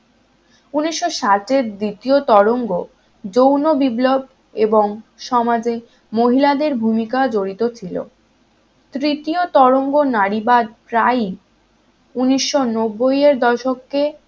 উনিশ ষাটের দ্বিতীয় তরঙ্গ যৌন বিপ্লব এবং সমাজের মহিলাদের ভূমিকা জড়িত ছিল তৃতীয় তরঙ্গ নারীবাদ প্রায় উনিশ নব্বই এর দশকে